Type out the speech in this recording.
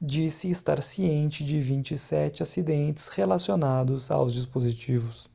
disse estar ciente de 27 acidentes relacionados aos dispositivos